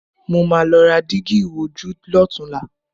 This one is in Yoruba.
Màá lọ ra dígí ìwojú lọ́tunla